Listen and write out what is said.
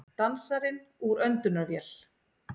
Dansarinn úr öndunarvél